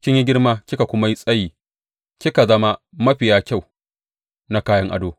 Kin yi girma kika kuma yi tsayi kika zama mafiya kyau na kayan ado.